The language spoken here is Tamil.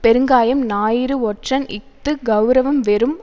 பெருங்காயம் ஞாயிறு ஒற்றன் இஃது கெளரவம் வெறும்